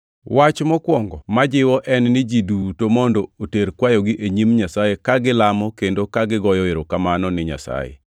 Wach mokwongo ma jiwo en ni ji duto mondo oter kwayogi e nyim Nyasaye ka gilamo kendo ka gigoyo erokamano ni Nyasaye